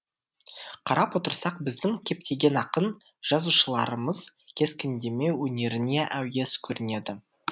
қарап отырсақ біздің көптеген ақын жазушыларымыз кескіндеме өнеріне әуес көрінеді